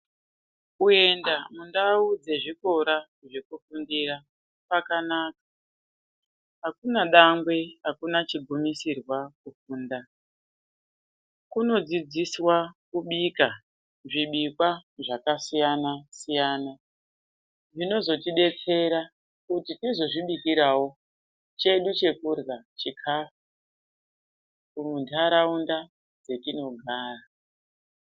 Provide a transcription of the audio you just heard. Kuenda mundau dzezvikora zvekufundira kwakanaka. Hakuna dangwe, hakuna chigumisirwa kufunda. Kunodzidziswa kubika zvibikwa zvakasiyana siyana. Zvinozotidetsera kuti tizozvibikirawo chedu chekudyra chikafu munharaunda dzetinogara.